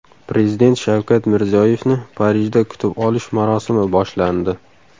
Prezident Shavkat Mirziyoyevni Parijda kutib olish marosimi boshlandi.